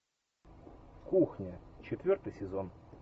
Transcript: кухня четвертый сезон